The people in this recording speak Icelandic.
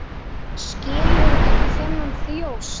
Skilur ekki þennan þjóst.